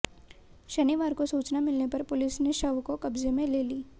शनिवार को सूचना मिलने पर पुलिस ने शव को कब्जे में ले ली